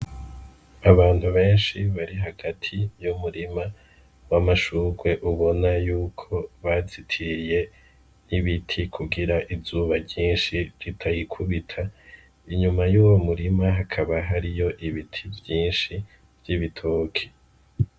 Abantu benshi bari hagati yu murima w'amasurwe ubona yuko bazitiriye n'ibiti kugira izuba ry'inshi ritayikubita inyuma y'uwo murima hakaba hariyo ibiti vyinshi vy'ibitoke.